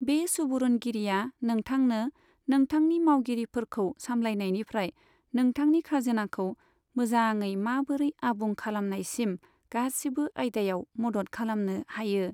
बे सुबुरुनगिरिया नोंथांनो नोंथांनि मावगिरिफोरखौ सामलायनायनिफ्राय नोंथांनि खाजोनाखौ मोजाङै माबोरै आबुं खालामनायसिम गासिबो आयदायाव मद'द खालामनो हायो।